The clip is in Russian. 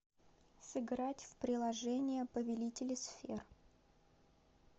сыграть в приложение повелители сфер